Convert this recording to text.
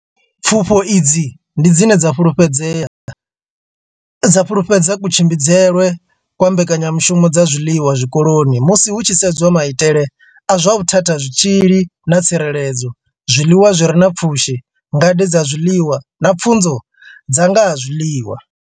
Pfufho idzi ndi dzine dza fhululedza kutshimbidzelwe kwa mbekanya mushumo dza zwiḽiwa zwikoloni musi hu tshi sedzwa maitele a zwa vhuthathazwitzhili zwitzhili na tsireledzo, zwiḽiwa zwi re na pfushi, ngade dza zwiḽiwa na pfunzo dza nga ha zwiḽiwa.